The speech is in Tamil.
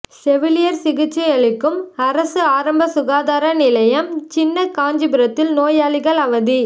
செவிலியா் சிகிச்சையளிக்கும் அரசு ஆரம்ப சுகாதார நிலையம்சின்ன காஞ்சிபுரத்தில் நோயாளிகள் அவதி